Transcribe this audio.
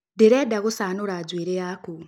Ndĩrenda gũcanũra njuĩrĩ yaku